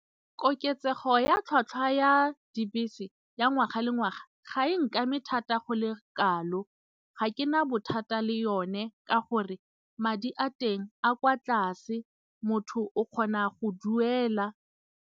Koketsego ya tlhatlhwa ya dibese ya ngwaga le ngwaga ga e nkame thata go le kalo, ga ke na bothata le yone ka gore madi a teng a kwa tlase motho o kgona go duela.